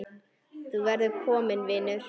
Þú verður kominn vinur.